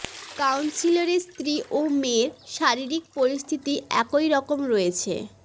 কাউন্সিলরের স্ত্রী ও মেয়ের শারীরিক পরিস্থিতি একই রকম রয়েছে